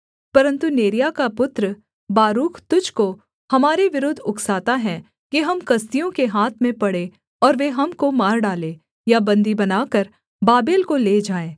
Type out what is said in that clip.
परन्तु नेरिय्याह का पुत्र बारूक तुझको हमारे विरुद्ध उकसाता है कि हम कसदियों के हाथ में पड़ें और वे हमको मार डालें या बन्दी बनाकर बाबेल को ले जाएँ